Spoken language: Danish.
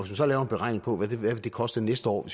så laver en beregning på hvad det vil koste næste år